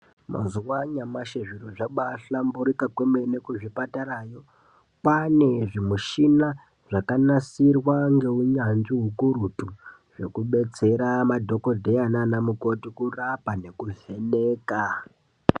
Mazuwa anyamashi zviro zvambaanasa kuhlamburika kwemene kuzvipatarayo .Kwaane zvimushina zvakanasirwa ngeunyanzvi ukurutu zvekudetsera madhokodheya naanamukoti kurapa nekuvheneka.